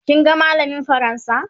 kin ga mallamin fransa?